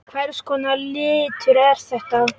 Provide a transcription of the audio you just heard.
Hvers konar litur er þetta?